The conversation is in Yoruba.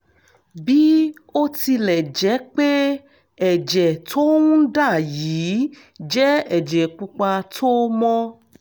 bí ó tilẹ̀ jẹ́ pé ẹ̀jẹ̀ tó ń dà yìí jẹ́ ẹ̀jẹ̀ pupa tó mọ́